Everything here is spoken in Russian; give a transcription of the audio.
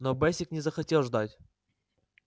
но бэсик не захотел ждать